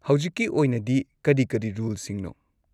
ꯍꯧꯖꯤꯛꯀꯤ ꯑꯣꯏꯅꯗꯤ ꯀꯔꯤ ꯀꯔꯤ ꯔꯨꯜꯁꯤꯡꯅꯣ?